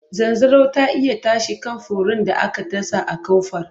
Zanzaro ta iya tashi kan furen da aka dasa a kofar.